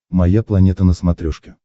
моя планета на смотрешке